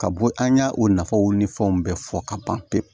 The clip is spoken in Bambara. Ka bɔ an y' o nafaw ni fɛnw bɛɛ fɔ ka ban pewu